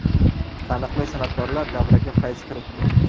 Taniqli san’atkorlar davraga fayz kiritdi.